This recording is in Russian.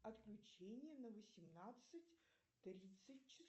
отключение на восемнадцать тридцать